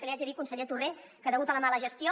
que li haig de dir conseller torrent que degut a la mala gestió